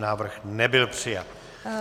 Návrh nebyl přijat.